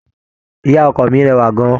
Ìyá ọkọ mi rẹwà gan-an.